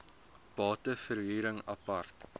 bate verhuring apart